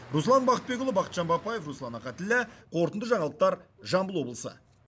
руслан бақытбекұлы бақытжан бапаев руслан ахатіллә қорытынды жаңалықтар жамбыл облысы